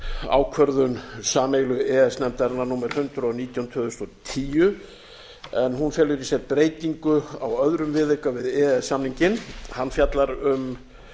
ákvörðun sameiginlegu e e s nefndarinnar númer hundrað og nítján tvö þúsund og tíu en hún felur í sér breytingu á öðrum viðauka vi e e s samninginn hann fjallar um